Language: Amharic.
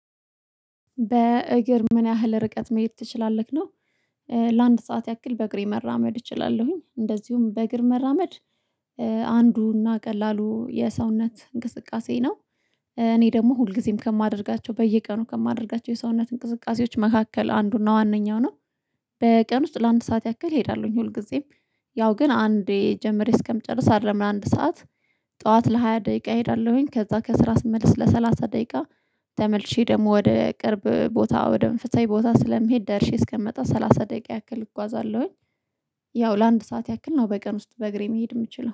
በእግር ምን ያህል ርቀት መሄድ ትችላለክ? ነው ለአንድ ሰዓት ያክል በእግሬ መራመድ እችላለሁኝ እንደዚሁም በእግር መራመድ አንዱና ቀላሉ የሰውነት እንቅስቃሴ ነው እኔ ደግሞ ሁልጊዜም ከማደርጋቸው በየቀኑ ከማደርጋቸው የሰውነት እንቅስቃሴዎች መካከል አንዱና ዋነኛው ነው። በቀን ውስጥ ለአንድ ሰዓት ያክል እሄዳለሁኝ ሁልጊዜም ያው ግን አንዴ ጀምሬ እስከምጨርስ አይደለም ለአንድ ሰዓት ጠዋት ለሃያ ደቂቃ እሄዳለሁኝ ከዛ ከስራ ስመልስ ለሰላሳ ደቂቃ ተመልሼ ደግሞ ወደ ቅርብ ቦታ ወደ መንፈሳዊ ቦታ ስለሚሄድ ደርሼ እስከምመጣ ሰላሳ ደቂቃ ያክል እጓዛለሁኝ ያው ለአንድ ሰዓት ያክል ነው በቀን ውስጥ በእግሬ መሄድ የምችለው።